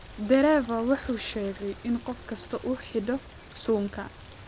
Dereava waxa uu sheegay in qof kastaa uu xidho suunka